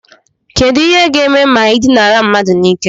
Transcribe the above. Kedu ihe ga-eme onye dinara mmadu n'ike?